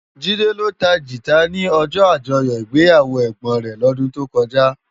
Jide ló tá gitá ni òjò ájòyò igbéyáwó ègbón rè lòdún tókòjá